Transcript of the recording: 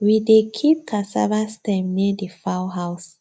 we dey keep cassava stem near the fowl house